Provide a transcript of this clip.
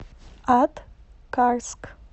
аткарск